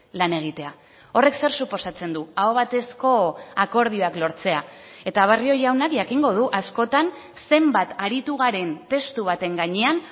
lan egitea horrek zer suposatzen du aho batezko akordioak lortzea eta barrio jaunak jakingo du askotan zenbat aritu garen testu baten gainean